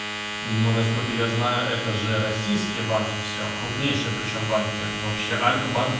ну насколько я знаю это же российские банки все крупнейшие причём банки вообще альфа банк